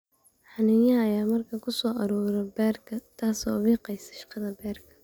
Xaniinyaha ayaa markaa ku soo urura beerka, taas oo wiiqaysa shaqada beerka.